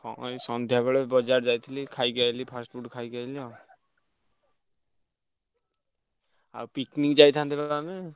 ହଁ ଏଇ ବଜାର ଯାଇଥିଲି ଖାଇକି ଆଇଲି fast food ଖାଇକି ଆଇଲି ଆଉ। ଆଉ picnic ଯାଇଥାନ୍ତେ ବା ଆମେ?